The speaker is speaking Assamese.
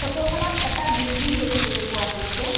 ফটোখনত এটা বিল্ডিং দেখিবলৈ পোৱা গৈছে।